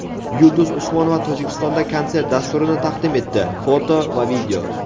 Yulduz Usmonova Tojikistonda konsert dasturini taqdim etdi (foto va video).